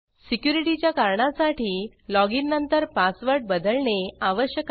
security च्या कारणासाठी login नंतर पासवर्ड बदलणे आवश्यक आहे